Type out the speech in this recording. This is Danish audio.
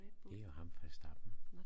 Det er ham Verstappen